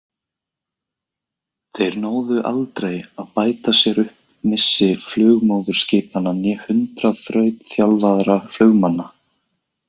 Þeir náðu aldrei að bæta sér upp missi flugmóðurskipanna né hundrað þrautþjálfaðra flugmannanna.